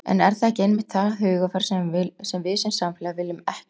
En er það ekki einmitt það hugarfar sem við sem samfélag viljum ekki búa til?